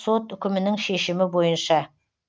сот үкімінің шешімі бойынша